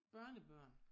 Børnebørn